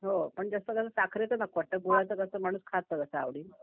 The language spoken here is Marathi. हां पण जास्त करून साखरेचं नको वाटतं गुळाचं माणूस खातं